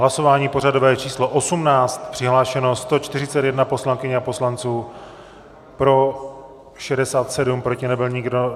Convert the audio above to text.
Hlasování pořadové číslo 18, přihlášeno 141 poslankyň a poslanců, pro 67, proti nebyl nikdo.